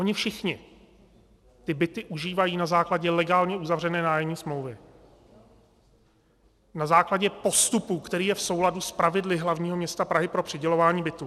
Oni všichni ty byty užívají na základě legálně uzavřené nájemní smlouvy, na základě postupu, který je v souladu s pravidly hlavního města Prahy pro přidělování bytů.